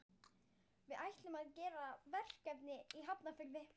Við ætlum að gera verkefni í Hafnarfirði.